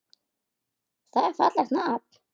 Það er fallegt nafn.